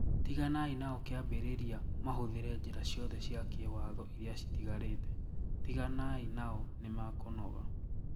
Tiganai nao kiambiriria mahũthire njira ciothe cia kiwatho iria citigarite, tiganai nao nimakũnoga.